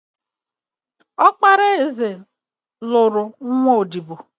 Ọkpara eze nụrụ nwa odibo